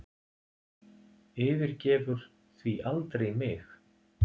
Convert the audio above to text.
Yfirgefur því aldrei mig